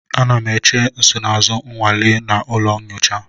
Ana m eche nsonaazụ nnwale m na ụlọ nyocha.